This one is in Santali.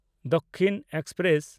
ᱫᱟᱠᱥᱤᱱ ᱮᱠᱥᱯᱨᱮᱥ